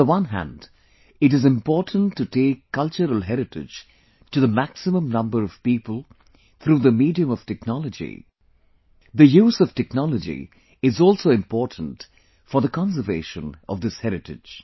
On the one hand it is important to take cultural heritage to the maximum number of people through the medium of technology, the use of technology is also important for the conservation of this heritage